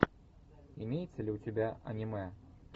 имеется ли у тебя анимэ